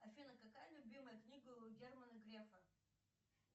афина какая любимая книга у германа грефа